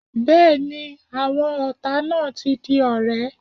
Bẹ́ẹ̀ni, àwọn ọ̀tá náà ti di ọ̀rẹ́.